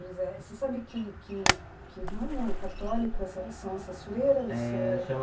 Você sabe que que que ramo católico são essas freiras?